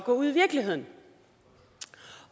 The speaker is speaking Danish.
gå ud i virkeligheden